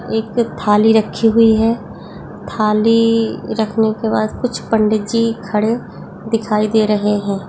एक थाली रखी हुई है थाली रखने के बाद कुछ पंडितजी खड़े दिखाई दे रहे हैं।